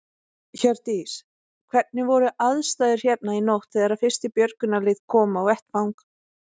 Hjördís: Hvernig voru aðstæður hérna í nótt þegar að fyrsta björgunarlið kom á vettvang?